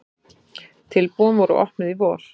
Tilboðin voru opnuð í vor.